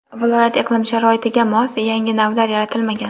viloyat iqlim sharoitiga mos yangi navlar yaratilmagan.